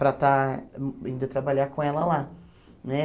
para estar indo trabalhar com ela lá, né?